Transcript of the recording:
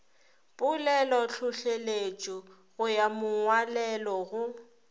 polelotlhohleletšo go ya mongwalelo go